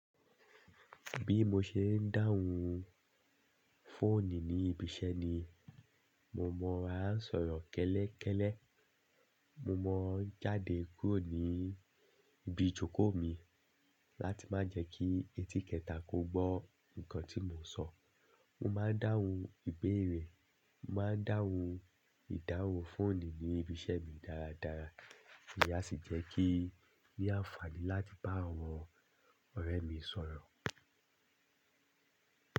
Bí mo ṣe ń dáhùn fóònù ní ibi iṣẹ́ ni, mo mọ ra sọ̀rọ̀ kẹ́lẹ́kẹ́lẹ́. Mo ma ń jáde kúrò ní ibi ìjókòó mi láti má jẹ kí ẹti kẹta kò gbọ́ nǹkan tí mo n sọ. Mo ma dáhùn ìbeere, mo ma dáhùn ìdáhùn fóònù ní ibi iṣẹ́ mi dáradára, èyí a sì jẹ́ kí i ní àǹfààní láti bá àwọn ọ̀rẹ́ mi sọ̀rọ̀.